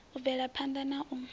u bvela phanḓa na u